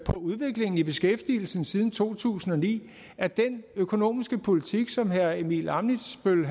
udviklingen i beskæftigelsen siden to tusind og ni at den økonomiske politik som herre simon emil ammitzbøll